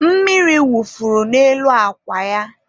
mmiri wufuru n'elu akwa ya